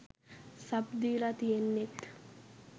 Sub දීල තියෙන්නෙත්.